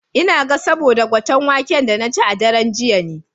Ina ga saboda gwaten waken da na ci a daren jiya ne.